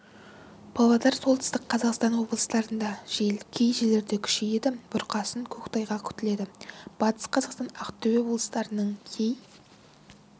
павлодар солтүстік қазақстан облыстарында жел кей жерлерде күшейеді бұрқасын көктайғақ күтіледі батыс қазақстан ақтөбе облыстарының кей